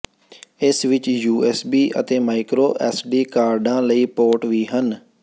ਇਸ ਵਿਚ U S B ਅਤੇ ਮਾਈਕਰੋ ਐਸਡੀ ਕਾਰਡਾਂ ਲਈ ਪੋਰਟ ਵੀ ਹਨ